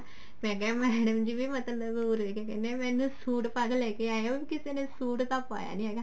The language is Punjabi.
ਮੈਂ ਕਿਹਾ madam ਜੀ ਵੀ ਮਤਲਬ ਉਰੇ ਕਿਆ ਕਹਿਨੇ ਆ ਮੈਨੂੰ ਸੂਟ ਪਾ ਕੇ ਲੇਕੇ ਆਏ ਹੋ ਉਰੇ ਕਿਸੇ ਨੇ ਸੂਟ ਤਾਂ ਪਾਇਆ ਨੀ ਹੈਗਾ